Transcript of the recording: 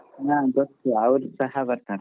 ಹಾ ಗೊತ್ತು ಅವ್ರ ಸಹಾ ಬರ್ತಾರಾ?